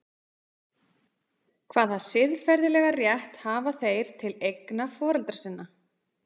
Hvaða siðferðilega rétt hafa þeir til eigna foreldra sinna?